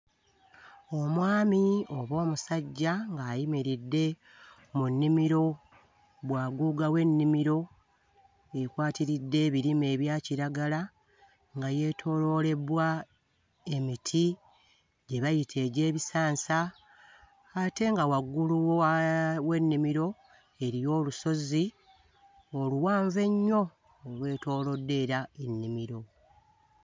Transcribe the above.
Omwami oba omusajja ng'ayimiridde mu nnimiro, bwaguuga w'ennimiro ekwatiridde ebirime ebya kiragala nga yeetooloolebbwa emiti gye bayita egy'ebisansa ate nga waggulu wa... w'ennimiro eriyo olusozi oluwanvu ennyo olwetoolodde era ennimiro.